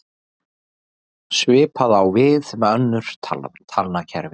Svipað á við um önnur talnakerfi.